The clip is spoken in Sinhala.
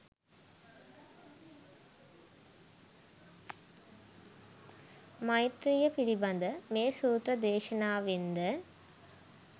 මෛත්‍රීය පිළිබඳ මේ සූත්‍ර දේශනාවෙන් ද